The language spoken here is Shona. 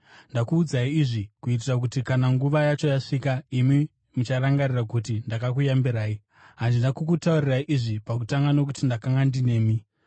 Ndakuudzai izvi, kuitira kuti kana nguva yacho yasvika, imi mucharangarira kuti ndakakuyambirai. Handina kukutaurirai izvi pakutanga nokuti ndakanga ndinemi.